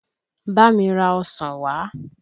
Bá mi ra ọsàn wà!